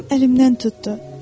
Mənim əlimdən tutdu.